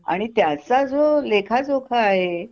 आणि त्याचा जो लेखाजोखा आहे